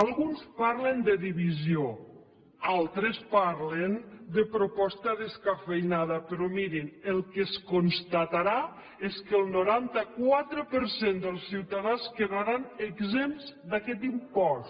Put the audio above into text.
alguns parlen de divisió altres parlen de proposta descafeïnada però mirin el que es constatarà és que el noranta quatre per cent dels ciutadans quedaran exempts d’aquest impost